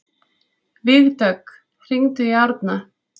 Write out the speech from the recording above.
Vígdögg, hringdu í Árna.